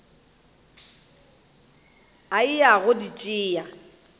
a eya go di tšea